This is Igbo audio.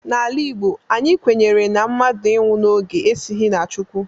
N'ala Igbo, anyị kwenyere na mmadụ ịnwụ n'oge esighi na Chukwu